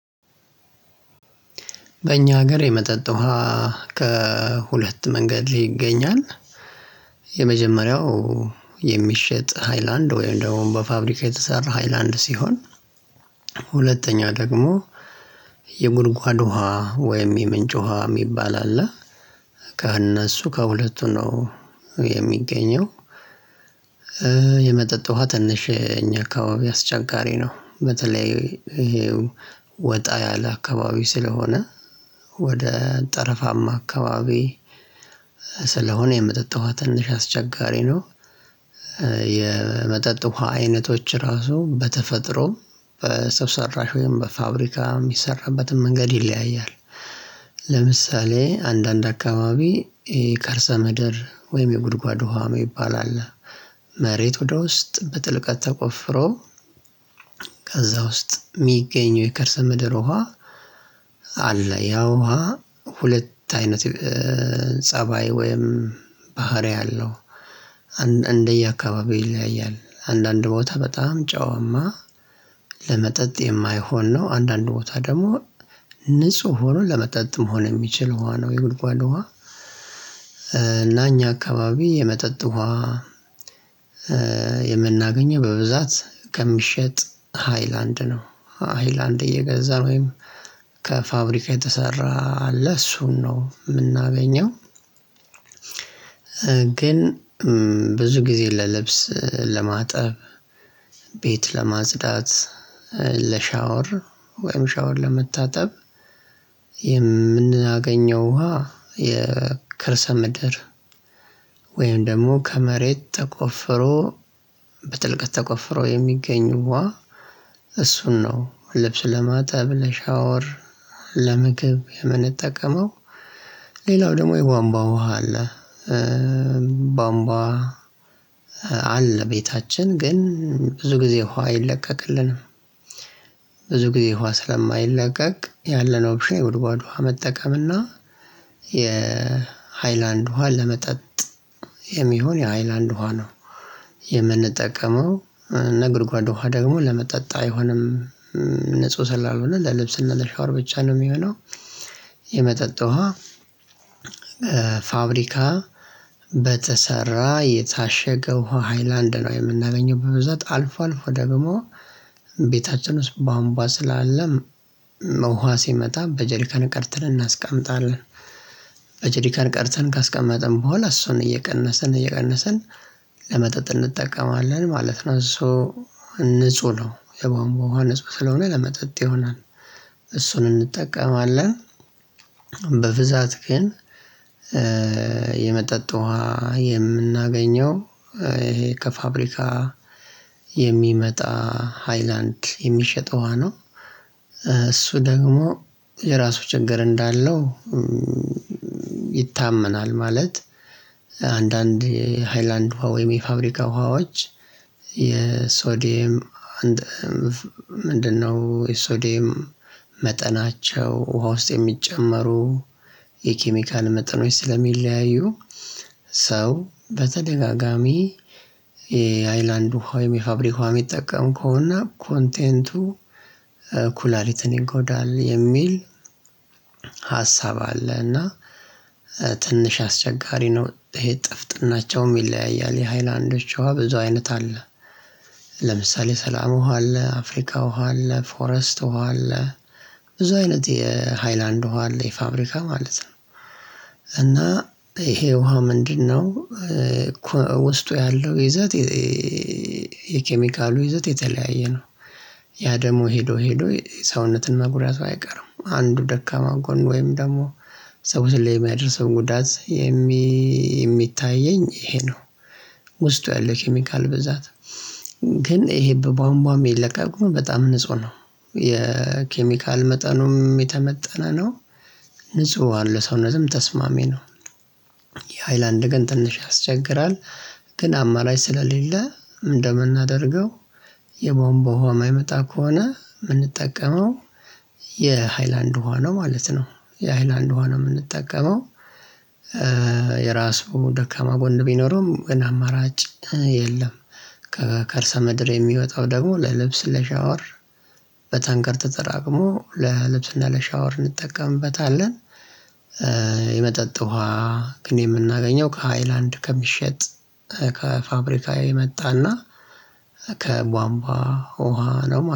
በእኛ ሀገር የመጠጥ ውሃ ከሁለት መንገድ ይገኛል የመጀመሪያው የሚሸጥ ሃይላንድ ወይም ደግሞ በፋብሪካ የተሰራ ሃይላንድ ሲሆን ሁለተኛወ ደግሞ የጉድጓድ ውሃ ወይም የምንጭ ውሃ የሚባል አለ ከእነሱ ከሁለቱ ነው የሚገኘው የመጠጥ ውሃ ትንሽ እኛ አካባቢ አስቸጋሪ ነው። በተለይ ይሄ ወጣ ያለ አካባቢ ስለሆነ ወደ ጠረፋማ አካባቢ ስለሆነ የመጠጥ ዉሃ ትንሽ አስቸጋሪ ነው የመጠጥ ውሃ አይነቶች ራሱ በተፈጥሮም በሰው ሰራሽ ወይም በፋብሪካ የሚሰራበትም መንገድ ይለያያል ለምሳሌ አንዳንድ አካባቢ ከርሰ ምድር ወይም የጉድጓድ ውሃ ነው ይባላል መሬት ወደ ውስጥ በጥልቀት ተቆፍሮ ከዛ ውስጥ የሚገኘው የከርሰ ምድር ውሃ አለ። ያ ውሃ ሁለት አይነት ፀባይ ወይም ባህሪ አለው እንደየ አካባቢው ይለያያል አንዳንድ ቦታ በጣም ጨዋማ ለመጠጥ የማይሆን ነው። አንዳንድ ቦታ ደግሞ ንጹህ ሁኖ ለመጠጥ መሆን የሚችል ውሃ ነው የጉልጓል ውሃ። እና እኛ አካባቢ የመጠጥ ውሃ የምናገኘው በብዛት ከሚሸጥ ሃይላንድ ነው። ሃይላንድ እየገዛን ወይም ከፋብሪካ የተሰራ አለ እሱን ነው የምናገኘው ግን ብዙ ጊዜ ለልብስ ለማጠብ፣ ቤት ለማጽዳት ለሻወር ወይም ሻወር ለመታጠብ የምናገኘው ውሃ የከርሰ ምድር ወይም ደግሞ ከመሬት ተቆፍሮ በጥልቀት ተቆፍሮ የሚገኙ ዉሃ እሱን ነው ልብስ ለማጠብ ለሻወር ለምግብ የምንጠቀመው ሌላው ደግሞ የቧንቧ ውሃ አለ ቧንቧ አለ ቤታችን ግን ብዙ ጊዜ ውሃ አይለቀቅልንም ጊዜ ውሃ ስለማይለቀቅ ያለነው ኦፕሽን የጉድጓድ ውሃ መጠቀም እና የሃይላንድ ውሃ ለመጠጥ የሚሆን የሃይላንድ ውሃ ነው የምንጠቀመው የጉድጓድ ዉሃ ደግሞ ለመጠጥ አይሆንም ንጹህ ስላልሆነ ለልብስና ለሻወር ብቻ ነው የሚሆነው የመጠጥ ውሃ ፋብሪካ በተሰራ የታሸገው ሃይላንድ ነው የምናገኘው በብዛት አልፎ አልፎ ደግሞ ቤታችን ውስጥ ቧንቧ ስላለ ውሃ ሲመጣ በጀሪካን ቀርተን እናስቀምጣለን ቀርተን ካስቀመጥን በኋላ እሱን እየቀነሰን እየቀነሰን ለመጠጥ እንጠቀማለን ማለት ነው። እሱ ንጹህ ነው የባንቧ ዉሃ ንጹህ ስለሆነ ለመጠጥ ይሆናል እሱን እንጠቀማለን በብዛት ግን የመጠጥ ውሃ የምናገኘው ከፋብሪካ የሚመጣ ሃይላንድ የሚሸጠው ውሃ ነው እሱ ደግሞ የራሱ ችግር እንዳለው ይታመናል ማለት አንዳንድ የሃይላንድ ውሃ ወይም የፋብሪካ ውሃዎች የሶዲየም ምንድነው? የሶዲየም መጠናቸው ውሃ ውስጥ የሚጨመሩ የኬሚካል መጠኖች ስለሚለያዩ ሰው በተደጋጋሚ የሃይላንድ ዉሃ ወይም የፋብሪካ ዉሃ የሚጠቀም ከሆነ ኮንቴንቱ ኩላሊትን ይንኮዳል የሚል ሀሳብ አለ እና ትንሽ አስቸጋሪ ነው ይሄ ጥፍጥናቸውም ይለያያል የሃይላዶች ዉሃ ብዙ አይነት አለ ለምሳሌ ሰላም ውሃ አለ፣ አፍሪካ ውሃ አለ፣ ፎረስት ውሃ አለ ብዙ አይነት የሃይላንድ ውሃ አለ የፋብሪካ ማለት ነው እና ይሄ ውሃ ምንድነው ውስጡ ያለው ይዘት የኬሚካሉ ይዘት የተለያየ ነው ያ ደግሞ ሄዶ ሄዶ ሰውነትን መጉዳቱ አይቀርም። አንዱ ደካማ ጎን ወይም ደግሞ ሰው ላይ የሚያደርሰው ጉዳት የሚታየኝ ይሄ ነው ውስጡ ያለው ኬሚካል ብዛት ግን ይሄ በቧንቧ የሚለቀቁ በጣም ንጹህ ነው የኬሚካል መጠኑም የተመጠነ ነው ንጹህ ዉሃ ለሰውነትም ተስማሚ ነው የሃይላንድ ግን ትንሽ ያስቸግራል ግን አማራጭ ስለሌለ ምንድነው የምናደርገው የቧንቧ ውሃ የማይመጣ ከሆነ የምንጠቀመው የሃይላንድ ውሃ ነው ማለት ነው የሃይላንድ ውሃ ነው የምንጠቀመው የራሱ ደካማ ጎን ቢኖረውም ግን አማራጭ የለም ከእርሳ ምድር የሚወጣው ደግሞ ለልብስ ለሻወር በታንከር ተጠራቅሞ ለልብስና ለሻወር እንጠቀምበታለን የመጠጥ ውሃ ግን የምናገኘው ከሃይላንድ ከሚሸጥ ከፋብሪካ የመጣና ከቧንቧ ውሃ ነው